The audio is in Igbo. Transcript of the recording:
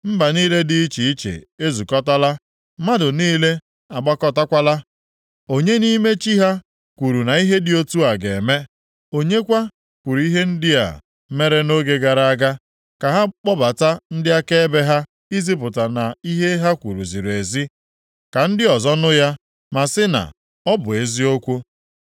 Mba niile dị iche iche ezukọtala, mmadụ niile agbakọtakwala. Onye nʼime chi ha kwuru na ihe dị otu a ga-eme, onye kwa kwuru ihe ndị a mere nʼoge gara aga? Ka ha kpọbata ndị akaebe ha izipụta na ihe ha kwuru ziri ezi, ka ndị ọzọ nụ ya ma sị na, “Ọ bụ eziokwu.”